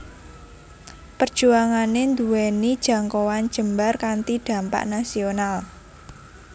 Perjuangané nduwèni jangkauan jembar kanthi dhampak nasional